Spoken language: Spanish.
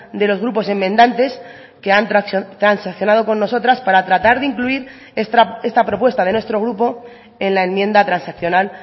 de los grupos enmendantes que han transaccionado con nosotras para tratar de incluir esta propuesta de nuestro grupo en la enmienda transaccional